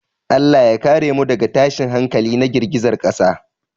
Allah ya kare mu daga tashin hankali na girgizar ƙasa.